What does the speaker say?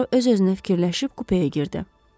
Puaro öz-özünə fikirləşib kupaya girdi.